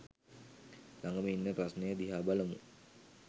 ලගම ඉන්න ප්‍රශ්නය දිහා බලමු